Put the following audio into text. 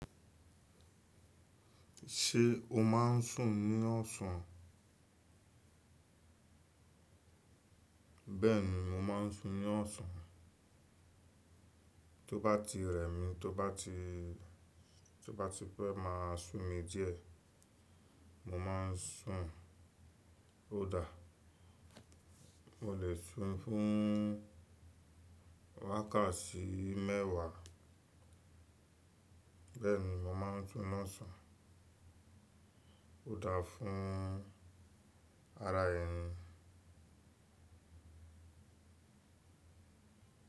Ṣé o má n sùn ní ọ̀sán? Bẹ́ẹ̀ni, mo má n sùn ní ọ̀sán. Tó bá ti rẹ̀ mí, tó bá ti, tó bá ti pẹ́ má simi díẹ̀. Mo má n sùn. Ó dà. Mo lè sùn fún wákàtí mẹ́wàá. Bẹ́ẹ̀ni, mo má n sùn ní ọ̀sán. Ó dà fún ara ẹni.